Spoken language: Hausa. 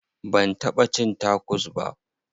Ban taɓa cin tacos ba.